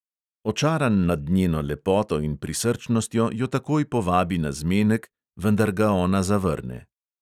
Očaran nad njeno lepoto in prisrčnostjo jo takoj povabi na zmenek, vendar ga ona zavrne.